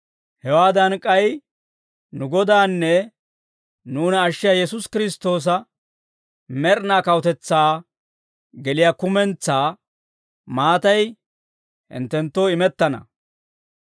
Hewaadan k'ay nu Godaanne nuuna ashshiyaa Yesuusi Kiristtoosa med'inaa kawutetsaa geliyaa kumentsaa maatay hinttenttoo imettana.